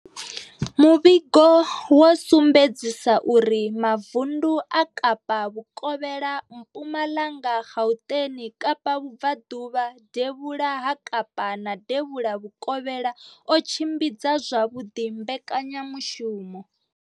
Muvhigo wo sumbedzisa uri mavundu a Kapa vhukovhela, Mpumalanga, Gauteng, Kapa vhubvaḓuvha, devhula ha Kapa na devhula vhukovhela o tshimbidza zwavhuḓi mbekanyamushumo.